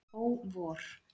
Ó vor.